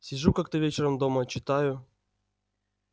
сижу как-то вечером дома читаю